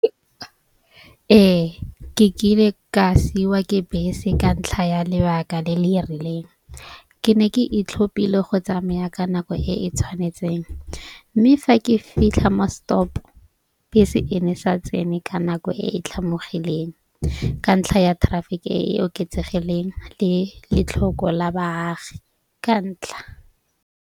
Ee, ke kile ka siwa ke bese ka ntlha ya lebaka le le rileng. Ke ne ke e tlhopile go tsamaya ka nako e e tshwanetseng. Mme fa ke fitlha mo stop bese e ne sa tsene ka nako e e tlhomologileng. Ka ntlha ya traffic e e oketsegileng le letlhoko la baagi ka ntlha.